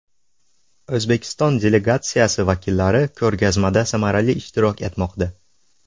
O‘zbekiston delegatsiyasi vakillari ko‘rgazmada samarali ishtirok etmoqda.